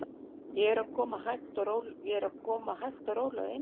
Ég er að koma hægt og rólega inn í þetta.